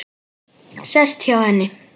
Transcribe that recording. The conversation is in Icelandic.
Sest hjá henni.